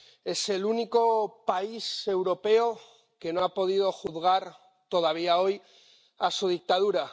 Es el único país europeo que no ha podido juzgar todavía hoy a su dictadura.